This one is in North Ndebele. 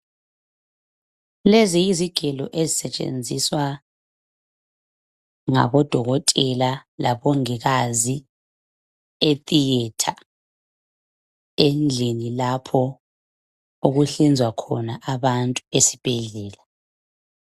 Lezi yizigelo ezisetshenziswa ngabodokotela labongikazi etheatre endlini lapho okuhlinzwa khona abantu esibhedlela.